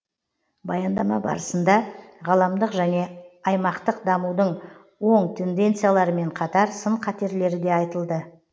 баяндама барысында ғаламдық және аймақтық дамудың оң тенденцияларымен қатар сын қатерлері де айтылды